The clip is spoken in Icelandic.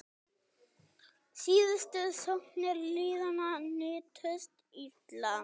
Síðustu sóknir liðanna nýttust illa.